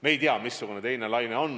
Me ei tea, missugune on teine laine.